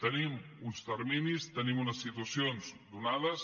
tenim uns terminis tenim unes situacions donades